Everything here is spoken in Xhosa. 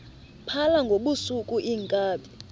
phala ngobusuku iinkabi